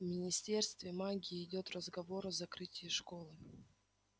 в министерстве магии идёт разговор о закрытии школы